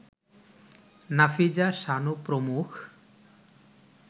নাফিজা, শানু প্রমুখ